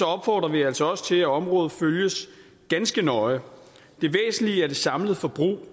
opfordrer vi altså også til at området følges ganske nøje det væsentlige er det samlede forbrug